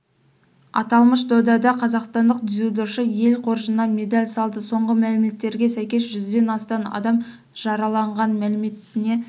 аталмыш додада қазақстандық дзюдошылар ел қоржынына медаль салды соңғы мәліметтерге сәйкес жүзден астам адам жараланған мәліметіне